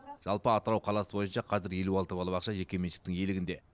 жалпы атырау қаласы бойынша қазір елу алты балабақша жекеменшіктің иелігінде